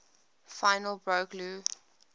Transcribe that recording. finally broke lou